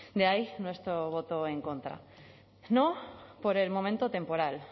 de ahí nuestro voto en contra no por el momento temporal